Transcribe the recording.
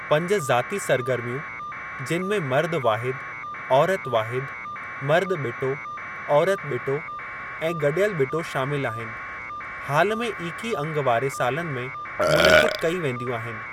पंज ज़ाती सरगर्मियूं, जिनि में मर्दु वाहिदु, औरति वाहिदु, मर्दु बि॒टो, औरति बि॒टो ऐं गडि॒यलु बि॒टो शामिलु आहिनि, हाल में ईकी अंगु वारे सालनि में मुनक़िदु कई वेंदियूं आहिनि।